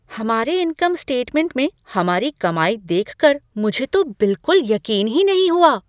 हमारे income statement में हमारी कमाई देखकर मुझे तो बिल्कुल यकीन ही नहीं हुआ।